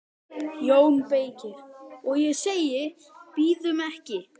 JÓN BEYKIR: Og ég segi: Bíðum ekki!